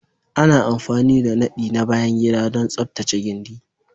Ana amfani da nadi na bayan gida don tsaftace gindi